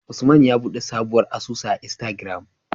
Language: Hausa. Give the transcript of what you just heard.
Usman ya buɗe sabon asusu a istagram